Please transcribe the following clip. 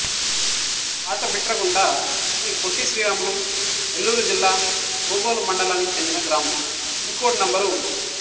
పాతబిట్రగుంట శ్రీ పొట్టి శ్రీరాములు నెల్లూరు జిల్లా బోగోలు మండలానికి చెందిన గ్రామం పిన్ కోడ్ నం